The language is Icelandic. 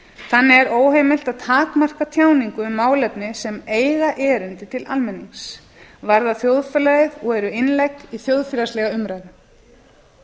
þannig er óheimilt að takmarka tjáningu um málefni sem eiga erindi til almennings varða þjóðfélagið og eru innlegg í þjóðfélagslega umræðu